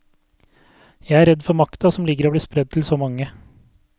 Jeg er redd for makta som ligger i å bli spredd til så mange.